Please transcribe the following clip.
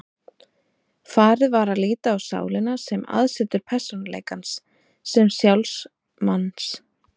Farið var að líta á sálina sem aðsetur persónuleikans, sem sjálf manns.